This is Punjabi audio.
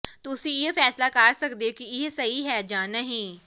ਤੁਸੀਂ ਇਹ ਫੈਸਲਾ ਕਰ ਸਕਦੇ ਹੋ ਕਿ ਇਹ ਸਹੀ ਹੈ ਜਾਂ ਨਹੀਂ